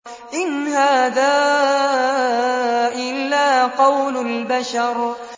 إِنْ هَٰذَا إِلَّا قَوْلُ الْبَشَرِ